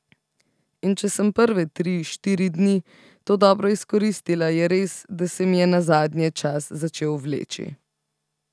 In če sem prve tri, štiri dni to dobro izkoristila, je res, da se mi je nazadnje čas začel vleči.